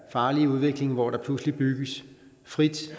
farlige udvikling hvor der pludselig bygges frit